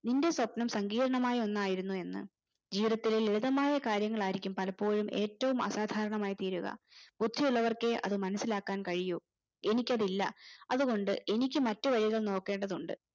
നിന്റെ സ്വപ്നം സങ്കീർണമായൊന്നായിരുന്നു എന്ന് ഈ ഇത്തരം ലളിതമായാ കാര്യങ്ങൾ ആയിരിക്കും പലപ്പോഴും ഏറ്റവും ആസാദാരണമായി തീരുക ബുദ്ധിയുള്ളവർക്കെ അത് മനസിലാകാൻ കഴിയു എനിക്കതില്ല അതുകൊണ്ട് എനിക്ക് മറ്റു വഴികൾ നോക്കേണ്ടതുണ്ട്